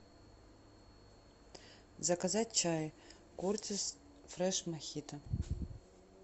заказать чай кертис фреш мохито